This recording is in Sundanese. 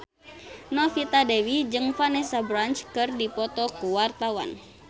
Novita Dewi jeung Vanessa Branch keur dipoto ku wartawan